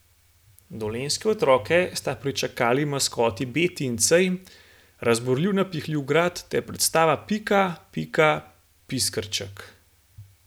Dolenjske otroke sta pričakali maskoti Beti in Cej, razburljiv napihljiv grad ter predstava Pika, pika, piskrček.